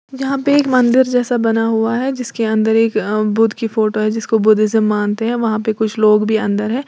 यहां पे एक मंदिर जैसा बना हुआ है जिसके अंदर एक बुद्ध की फोटो है जिसको बुद्ध से मानते हैं वहां पर कुछ लोग भी अंदर है।